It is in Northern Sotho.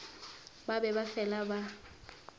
ba be ba fela ba